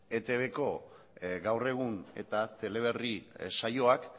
etbko gaur egun eta teleberri saioak